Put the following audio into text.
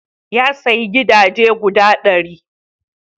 Ya sayi gidaje guda ɗari.